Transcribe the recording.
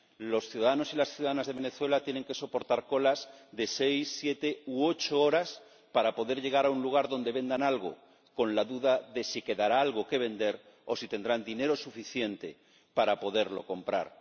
Los ciudadanos y las ciudadanas de Venezuela tienen que soportar colas de seis, siete u ocho horas para poder llegar a un lugar donde vendan algo, con la duda de si quedará algo que vender o de si tendrán dinero suficiente para poderlo comprar.